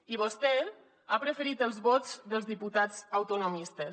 i vostè ha preferit els vots dels diputats autonomistes